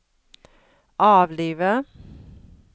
avlive